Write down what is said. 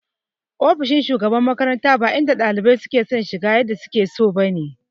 Ofishin shugaban makarantar ba inda ɗalibai suke shiga yadda suke so ba ne.